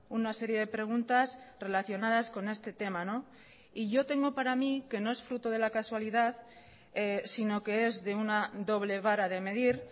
una serie de preguntas relacionadas con este tema y yo tengo para mí que no es fruto de la casualidad sino que es de una doble vara de medir